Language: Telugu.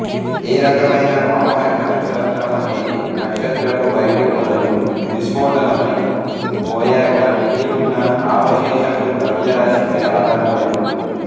ఏ రకమైన కాంపాక్ట్ నక్షత్రమనేది నక్షత్రపు బయటి పొరలు విస్ఫోటనమై పోయాక మిగిలి ఉన్న అవశేషపు ద్రవ్యరాశిపై ఆధారపడి ఉంటుంది